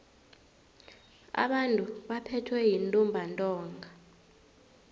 abantu abaphethwe yintumbantonga